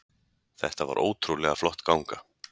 Þetta var ótrúlega flott ganga